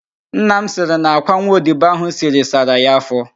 Nna m sịrị na àkwá nwa odibo ahụ siri sara ya afọ